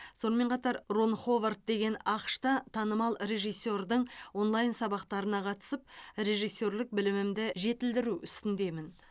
сонымен қатар рон ховард деген ақш та танымал режиссердің онлайн сабақтарына қатысып режиссерлік білімімді жетілдіру үстіндемін